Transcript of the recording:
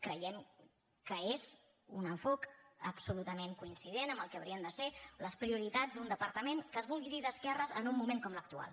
creiem que és un enfocament absolutament coincident amb el que haurien de ser les prioritats d’un departament que es vulgui dir d’esquerres en un moment com l’actual